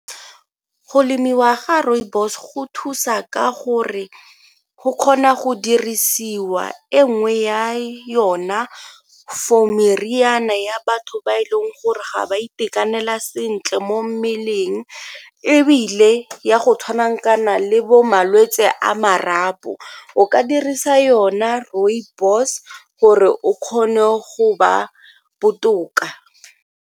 Go lemiwa ga rooibos go thusa ka gore go kgona go dirisiwa e nngwe ya yona for meriana ya batho ba e leng gore ga ba itekanela se ntle mo mmeleng ebile ya go tshwanang kana le bo malwetse a marapo, o ka dirisa yona rooibos gore o kgone go ba botoka.